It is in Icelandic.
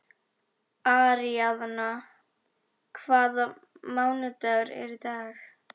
Aríaðna, hvaða mánaðardagur er í dag?